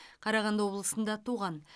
қарағанды облысында туған